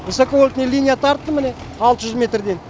высоковольтный линия тарттым міне алты жүз метрден